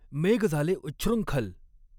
मेघ झाले उच्छृंखल।